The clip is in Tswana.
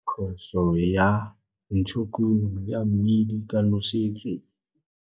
Khoso ya ntshokuno ya Mmidi ka Nosetso.